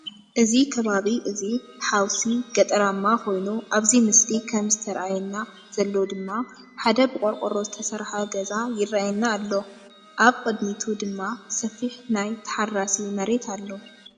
እዚ ከባቢ እዚ ሐውሲ ገጠራማ ኮይኑ ኣብዚ ምስሊ ከም ዝተአየና ዘሎ ድማ ሓደ ብቆርቆሮ ዝተሰርሓ ገዛ ይረአየና ኣሎ። ኣብ ቅዲሚቱ ድማ ሰፊሕ ናይ ተሓራሲ መራት ኣሎ።